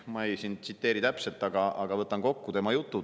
Ma ei tsiteeri täpselt, aga võtan kokku tema jutu.